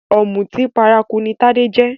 Òmùtí paraku ní Tádé jẹ́